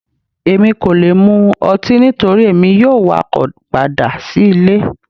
Emi ko le mú ọtí nitori emi yoo wakọ pada si ile